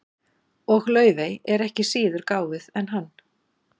Og Laufey er ekki síður gáfuð en hann.